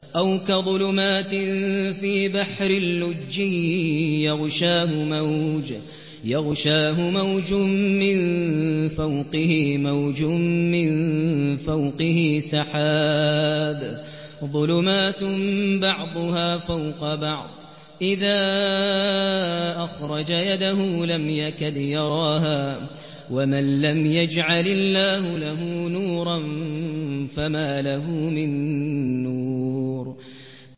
أَوْ كَظُلُمَاتٍ فِي بَحْرٍ لُّجِّيٍّ يَغْشَاهُ مَوْجٌ مِّن فَوْقِهِ مَوْجٌ مِّن فَوْقِهِ سَحَابٌ ۚ ظُلُمَاتٌ بَعْضُهَا فَوْقَ بَعْضٍ إِذَا أَخْرَجَ يَدَهُ لَمْ يَكَدْ يَرَاهَا ۗ وَمَن لَّمْ يَجْعَلِ اللَّهُ لَهُ نُورًا فَمَا لَهُ مِن نُّورٍ